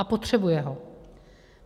A potřebuje ho.